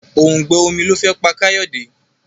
òùngbẹ omí ló fé pá Kayode.